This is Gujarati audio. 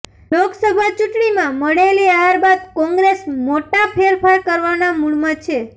લોકસભા ચૂંટણીમાં મળેલી હાર બાદ કોંગ્રેસ મોટા ફેરફાર કરવાનાં મૂડમાં છે